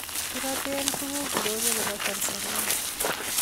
kiroteen tukuk ndonyo nebo Tanzania